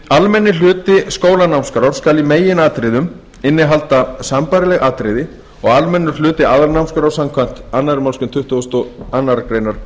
almenni hluti skólanámskrár skal í meginatriðum innihalda sambærileg atriði og almennur hluti aðalnámskrár samkvæmt annarri málsgrein tuttugustu og aðra grein